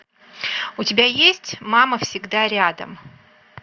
у тебя есть мама всегда рядом